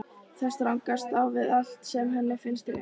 Það stangast á við allt sem henni finnst rétt.